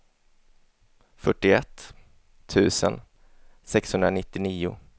fyrtioett tusen sexhundranittionio